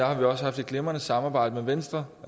har haft et glimrende samarbejde med venstre